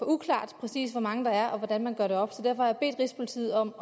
uklart præcis hvor mange der er og hvordan man gør det op så derfor har jeg bedt rigspolitiet om